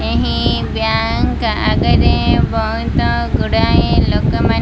ଏହି ବ୍ୟାଙ୍କ୍ ତା ଆଗରେ ବହୁତ ଗୁଡ଼ାଏ ଲୋକମାନେ --